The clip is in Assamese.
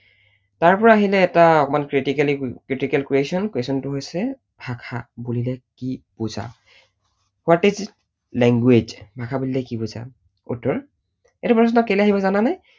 তাৰপৰা আহিলে এটা অকণমান critically, critical question, question টো হৈছে ভাষা বুলিলে কি বুজা? what is language ভাষা বুলিলে কি বুজা? উত্তৰ, এইটো প্ৰশ্ন কেলেই আহিব জানানে?